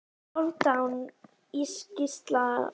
Hálfdán Gíslason Valur